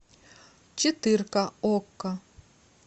четырка окко